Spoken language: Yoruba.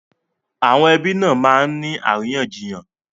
Àwọn ẹbí nà máa ń ní àríyànjiyàn